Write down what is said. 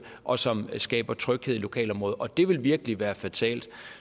og som skaber tryghed i lokalområdet og det vil virkelig være fatalt